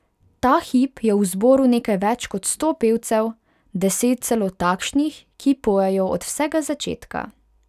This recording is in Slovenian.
Ta hip je v zboru nekaj več kot sto pevcev, deset celo takšnih, ki pojejo od vsega začetka.